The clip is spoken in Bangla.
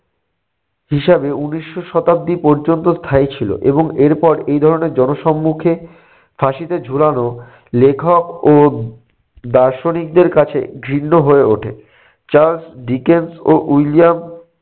হিসাবে উনিশশো শতাব্দী পর্যন্ত স্থায়ী ছিল এবং এরপর এই ধরনের জনসম্মুখে ফাঁসিতে ঝুলানো লেখক ও দার্শনিকদের কাছে ঘৃণ্য হয়ে ওঠে। চার্লস ডিকেন্স ও উইলিয়াম